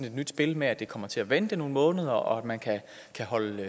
et nyt spil med at det kommer til at vente nogle måneder og at man kan holde